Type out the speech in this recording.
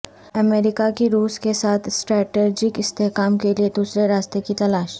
امریکہ کی روس کیساتھ اسٹریٹجک استحکام کیلئے دوسرے راستہ کی تلاش